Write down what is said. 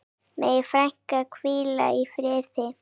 Megi frænka hvíla í friði.